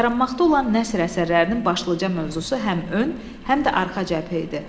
Yaranmaqda olan nəsr əsərlərinin başlıca mövzusu həm ön, həm də arxa cəbhə idi.